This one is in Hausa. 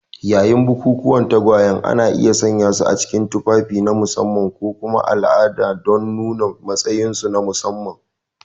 Yayin bukukuwan tagwayen, ana iya sanyasu cikin tufafi na musamman ko kuma alama don nuna matsayinsu na musamman.